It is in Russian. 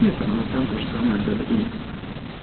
и по новостям тоже самое говорили